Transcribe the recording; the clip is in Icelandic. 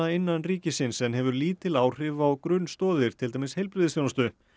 innan ríkisins en hefur lítil áhrif á grunnstoðir til dæmis heilbrigðisþjónustu